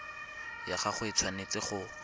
ya gago e tshwanetse go